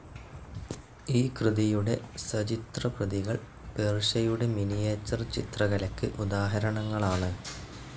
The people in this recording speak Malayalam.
ഈ കൃതിയുടെ സചിത്രപ്രതികൾ പേർഷ്യയുടെ മിനിയേച്ചർ ചിത്രകലയ്ക്ക് ഉദാഹരണങ്ങളാണ്.